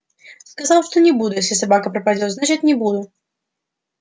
сказал что не буду если собака пропадёт значит не буду